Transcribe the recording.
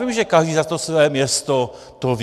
Vím, že každý za to své město to ví.